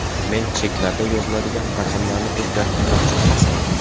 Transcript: Men cheklarda yoziladigan raqamlarni o‘zgartirmoqchi emasman.